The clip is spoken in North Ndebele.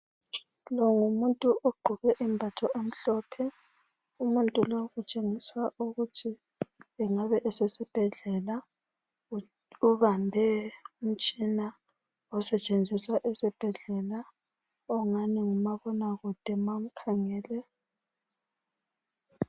Lo ngumuntu ogqoke impahla ezimhlophe ezomuntu osebenza esibhedlela. Ubambe umtshina wokuhlola abantu lokubakhangela amaBp nxa bengezwa kuhle.